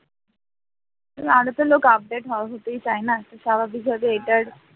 আরোতো লোক update হতেই চায় না তোর স্বাভাবিকভাবে এটার